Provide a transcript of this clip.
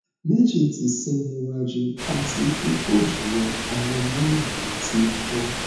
meji ti se ni waju ati upojulo awon molar mi ti fo